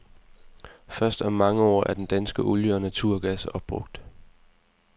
Først om mange år er den danske olie og naturgas opbrugt.